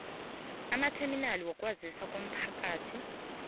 amatheminali wokwazisa womphakathi